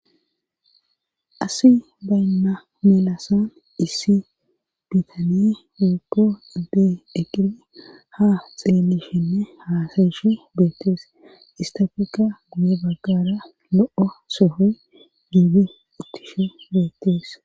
Asi baynna melasan issi biitane wupo adde eqidi ha xeelishinne haasayishi beettees istafeka guye baggara lo7o soho giibi uttishu beettees.